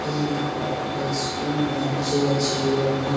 এই দেখো একটা ইস্কুল বেঞ্চ -এ আছে অনেক ।